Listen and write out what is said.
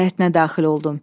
Həyətinə daxil oldum.